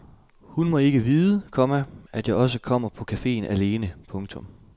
Hun må ikke vide, komma at jeg også kommer på caféen alene. punktum